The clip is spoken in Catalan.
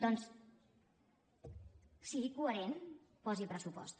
doncs sigui coherent posi pressupost